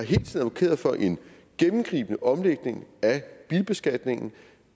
advokeret for en gennemgribende omlægning af bilbeskatningen